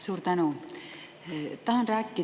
Suur tänu!